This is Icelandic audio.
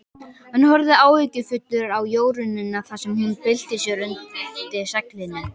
Hann horfði áhyggjufullur á Jórunni þar sem hún bylti sér undir seglinu.